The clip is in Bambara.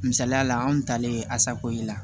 Misaliyala anw talen asako ye